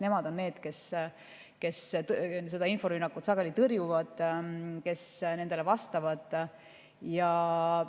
on need, kes seda inforünnakut sageli tõrjuvad, sellele vastavad.